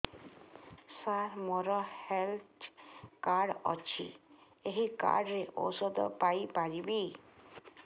ସାର ମୋର health card ଅଛି ଏହି କାର୍ଡ ରେ ଔଷଧ ପାଇପାରିବି